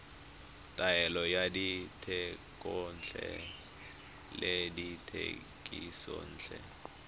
taolo ya dithekontle le dithekisontle